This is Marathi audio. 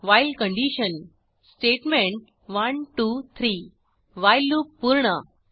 while condition statement 1 2 3 while loop पूर्ण